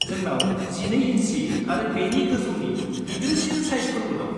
जोंनाव 12 इन्सि आरो बेनि गोजौनि गिदिरसिन साइजफोरबो दं।